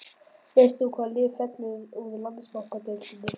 Veist þú hvaða lið fellur úr Landsbankadeildinni?